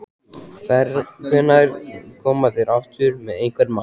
Hvenær koma þeir aftur með einhvern mat?